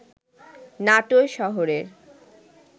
নাটোর শহরের